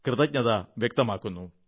കൃതജ്ഞത വ്യക്തമാക്കുന്നു